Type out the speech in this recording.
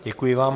Děkuji vám.